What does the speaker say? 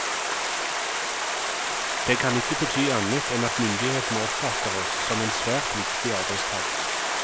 Det kan ikke bety annet enn at myndighetene oppfatter oss som en svært viktig arbeidskraft.